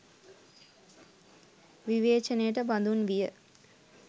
විවේචනයට බඳුන් විය.